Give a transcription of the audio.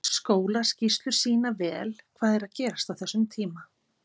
Skólaskýrslur sýna vel hvað er að gerast á þessum tíma.